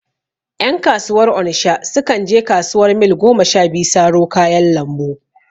Ƴan kasuwar onisha su kan je kasuwar Mil goma sha biyu saro kayan lambu